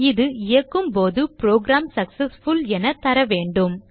இது இயக்கும் போது புரோகிராம் சக்செஸ்ஃபுல் என தரவேண்டும